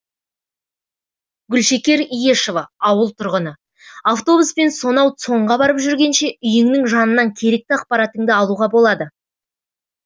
гүлшекер иешова ауыл тұрғыны автобуспен сонау цон ға барып жүргенше үйіңнің жанынан керекті ақпаратыңды алуға болады